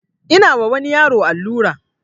Ina wa wani yaro allura